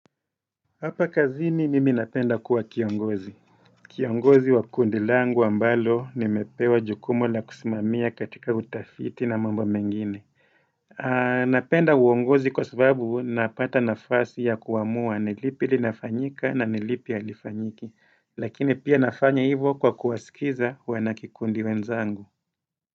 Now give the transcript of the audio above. Hapa kazini mimi napenda kuwa kiongozi. Kiongozi wa kundi langu ambalo nimepewa jukumu la kusimamia katika utafiti na mambo mengine Napenda uongozi kwa sababu napata nafasi ya kuamua nilipi linafanyika na nilipi halifanyiki Lakini pia nafanya hivo kwa kuwasikiza wanakikundi wenzangu.